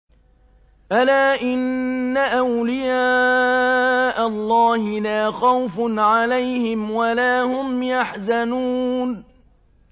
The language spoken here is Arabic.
أَلَا إِنَّ أَوْلِيَاءَ اللَّهِ لَا خَوْفٌ عَلَيْهِمْ وَلَا هُمْ يَحْزَنُونَ